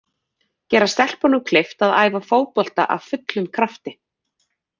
Gera stelpunum kleift að æfa fótbolta af fullum krafti.